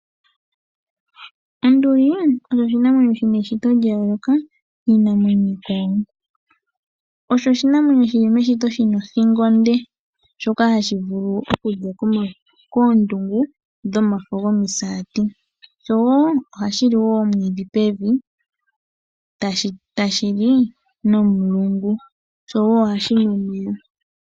Onduli osho oshinamwenyo shina eshito lya yooloka kiinamwenyo iikwawo. Osho oshinamwenyo shili meshito shina othingo onde, shoka hashi vulu oku thika koondungu dhomafo gomisaati sho ohashi li wo omwiidhi pevi tashi li nomulungu, showo ohashi nu omeya.